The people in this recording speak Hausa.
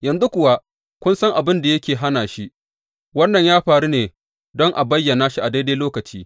Yanzu kuwa kun san abin da yake hana shi, wannan yana faruwa ne don a bayyana shi a daidai lokaci.